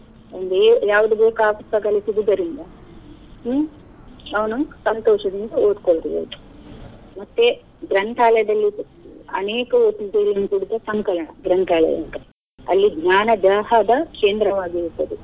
ಅಲ್ಲಿ ಯಾವ್ದು ಬೇಕು ಆ ಪುಸ್ತಕಗಳು ಸಿಗುದರಿಂದ ಹ್ಮ್‌ ಅವ್ನು ಸಂತೋಷದಿಂದ ಓದ್ಕೋಲ್ಬೋದು ಮತ್ತೆ ಗ್ರಂಥಾಲಯದಲ್ಲಿ ಅನೇಕ ಗ್ರಂಥಾಲಯ ಅಂತ ಅಲ್ಲಿ ಜ್ಞಾನ ದ ಕೇಂದ್ರವಾಗಿರುತ್ತದೆ.